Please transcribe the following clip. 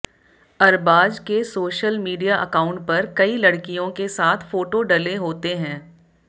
अरबाज के social media account पर कई लड़कियों के साथ फोटो डले होते हैं